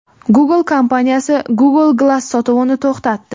Google kompaniyasi Google Glass sotuvini to‘xtatdi.